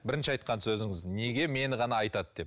бірінші айтқан сөзіңіз неге мені ғана айтады деп